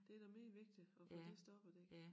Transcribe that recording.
Det da meget vigtigt at få det stoppet ik